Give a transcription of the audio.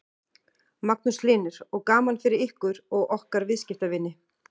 Magnús Hlynur: Og gaman fyrir ykkur og ykkar viðskiptavini?